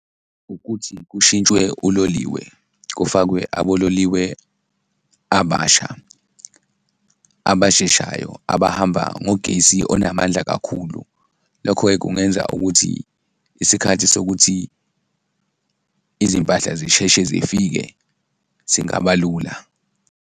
Ukuthi kushintshwe uloliwe kufakwe abololiwe abasha, abasheshayo, abahamba ngogesi onamandla kakhulu, lokho-ke kungenza ukuthi isikhathi sokuthi izimpahla zisheshe zifike singaba lula.